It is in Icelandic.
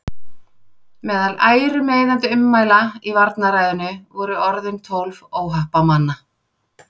Meðal ærumeiðandi ummæla í varnarræðunni voru orðin tólf óhappamanna.